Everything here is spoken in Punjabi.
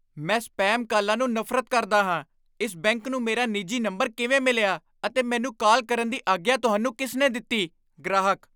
ਮੈਂ ਸਪੇਮ ਕਾਲਾਂ ਨੂੰ ਨਫ਼ਰਤ ਕਰਦਾ ਹਾਂ ਇਸ ਬੈਂਕ ਨੂੰ ਮੇਰਾ ਨਿੱਜੀ ਨੰਬਰ ਕਿਵੇਂ ਮਿਲਿਆ ਅਤੇ ਮੈਨੂੰ ਕਾਲ ਕਰਨ ਦੀ ਆਗਿਆ ਤੁਹਾਨੂੰ ਕਿਸ ਨੇ ਦਿੱਤੀ? ਗ੍ਰਾਹਕ